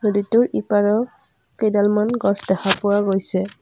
নদীটোৰ ইপাৰেও কেইডালমান গছ দেখা পোৱা গৈছে।